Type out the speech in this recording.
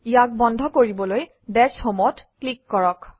ইয়াক বন্ধ কৰিবলৈ দাশ home অত ক্লিক কৰক